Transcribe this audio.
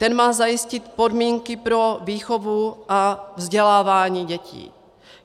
Ten má zajistit podmínky pro výchovu a vzdělávání dětí.